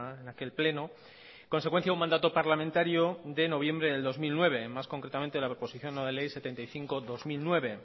en aquel pleno consecuencia un mandato parlamentario de noviembre de dos mil nueve más concretamente de la proposición no de ley setenta y cinco barra dos mil nueve